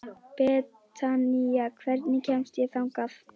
Betanía, hvernig kemst ég þangað?